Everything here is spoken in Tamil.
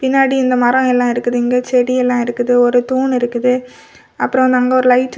பின்னாடி இந்த மரோ எல்லா இருக்குது இங்க செடி எல்லா இருக்குது ஒரு தூண் இருக்குது அப்ரோ அந்தா அங்க ஒரு லைட் --